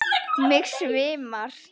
Mig svimar.